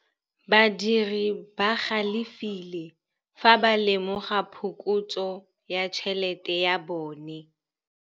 Badiri ba galefile fa ba lemoga phokotsô ya tšhelête ya bone.